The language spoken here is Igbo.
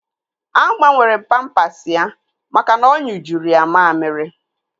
Agbanwere m pampasi ya maka na ọ nyụjuru ya mammiri